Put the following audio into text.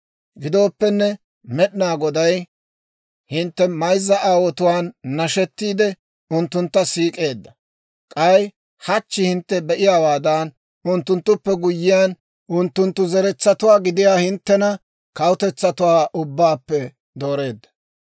Gidooppenne Med'inaa Goday hintte mayzza aawotuwaan nashettiide, unttuntta siik'eedda; k'ay hachchi hintte be"iyaawaadan, unttunttuppe guyyiyaan unttunttu zeretsatuwaa gidiyaa hinttena kawutetsatuwaa ubbaappe dooreedda.